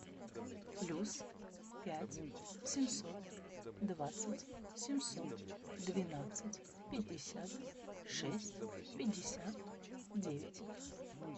плюс пять семьсот двадцать семьсот двенадцать пятьдесят шесть пятьдесят девять